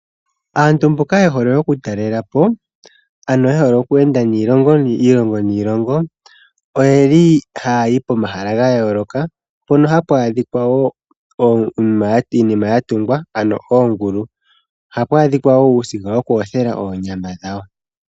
Aantu mboka ye hole okutalela po, ano ye hole okweenda iilongo niilongo. Ohaya yi pomahala ga yooloka, mpoka hapu adhika iinima ya tungwa, ano oongulu. Ohapu adhika wo uusiga woku yothela oonyama dhawo.